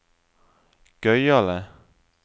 gøyale